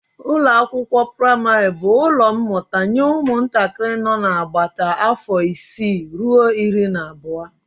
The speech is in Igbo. Ụlọakwụkwọ praịmarị bụ ụlọ mmụta nye ụmụntakịrị nọ n'agbata afọ isii ruo iri na abụọ